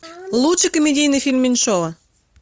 лучший комедийный фильм меньшова